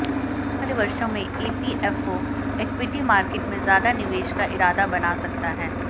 आने वाले वर्षों में ईपीएफओ इक्विटी मार्केट में ज्यादा निवेश का इरादा बना सकता है